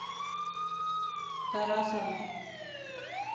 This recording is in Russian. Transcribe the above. тарасову